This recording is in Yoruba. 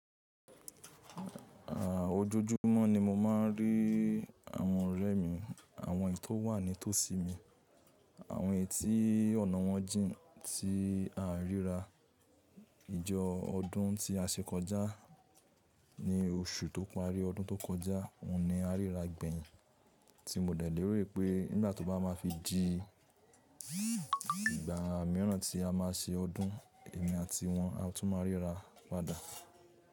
À, ojoojúmọ́ ni mo máa ń rí àwọn ọ̀rẹ́ mi, àwọn ètò wà nítòsí mi, àwọn etí ọ̀nà wọn jìn, tí a ríra ìjọ ọdún tí a ṣe kọjá ní oṣù tó parí ọdún tó kọjá, òun ni a ríra gbẹ̀yin tí mo dẹ̀ léèrè pé nígbà tó bá máa fi di ìgbà mìíràn tí a máa ṣe ọdún, èmi àti wọ́n a tún máa ríra padà.